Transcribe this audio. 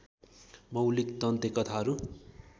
मौलिक दन्ते कथाहरू